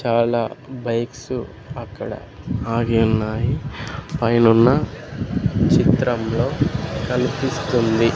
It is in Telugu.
చాలా బైక్స్ అక్కడ ఆగి ఉన్నాయి పైనున్న చిత్రంలో కనిపిస్తుంది.